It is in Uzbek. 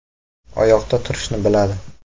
Oyoqda turishni biladi.